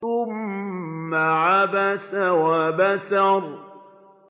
ثُمَّ عَبَسَ وَبَسَرَ